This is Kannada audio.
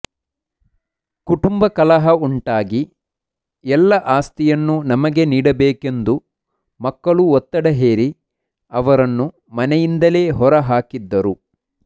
ಕುಟುಂಬ ಕಲಹ ಉಂಟಾಗಿ ಎಲ್ಲ ಆಸ್ತಿಯನ್ನು ನಮಗೆ ನೀಡಬೇಕೆಂದು ಮಕ್ಕಳು ಒತ್ತಡ ಹೇರಿ ಅವರನ್ನು ಮನೆಯಿಂದಲೇ ಹೊರಹಾಕಿದ್ದರು